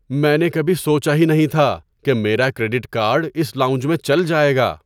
میں نے کبھی سوچا ہی نہیں تھا کہ میرا کریڈٹ کارڈ اس لاؤنج میں چل جائے گا!